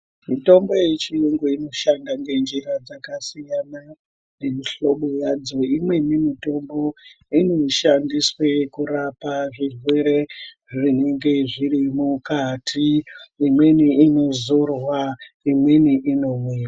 Mitombo yechiyungu inoshanda ngenjira dzakasiyana nemihlobo yadzo. Imweni mitombo inoshandiswe kurapa zvirwere zvinenge zviri mukati, imweni inozorwa, imweni inomwiwa.